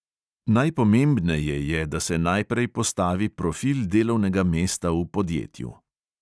Najpomembneje je, da se najprej postavi profil delovnega mesta v podjetju.